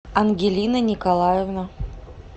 ангелина николаевна